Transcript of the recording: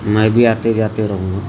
मैं भी आते जाते रहूंगा।